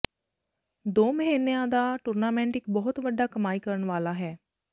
ਦੋ ਮਹੀਨਿਆਂ ਦਾ ਟੂਰਨਾਮੈਂਟ ਇੱਕ ਬਹੁਤ ਵੱਡਾ ਕਮਾਈ ਕਰਨ ਵਾਲਾ ਹੈ